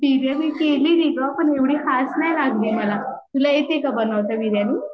बीर्यानी केली मी ग पण एवढी खास नाही लागली मला तुला येती का बनावता बीर्यानी?